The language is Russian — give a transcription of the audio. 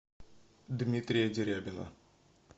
дмитрия дерябина